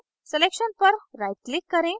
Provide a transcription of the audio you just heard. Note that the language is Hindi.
selection पर right click करें